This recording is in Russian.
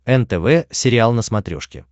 нтв сериал на смотрешке